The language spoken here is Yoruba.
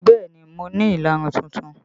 Bẹẹ ni, mo ní ìlarun tuntun